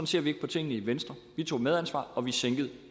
ser vi ikke på tingene i venstre vi tog medansvar og vi sænkede